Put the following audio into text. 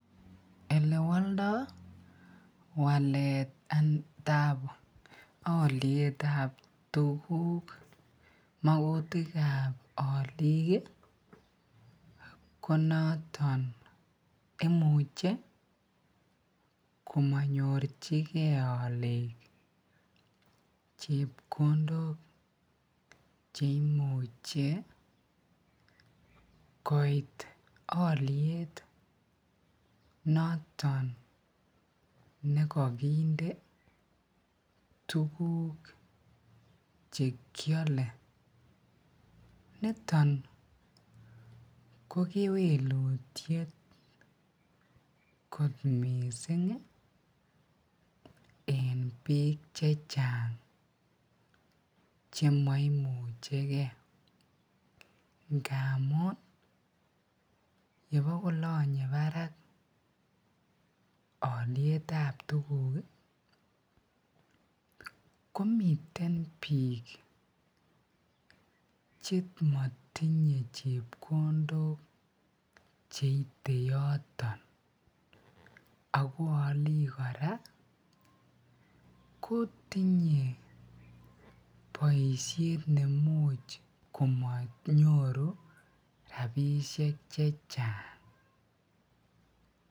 Elewoldo waletab olietab tukuk makutikab oliik ko noton imuche komonyorchike oliik chepkondok cheimuche koit oliet noton nekokinde tukuk chekiole, niton ko kewelutiet kot mising en bii chechang chemoimucheke ngamun yemokolonye barak olietab tukuk komiten biik chemotinye chepkondok cheite yoton ak ko oliik kora kotinye boishet nemuch komonyoru rabishek chechang.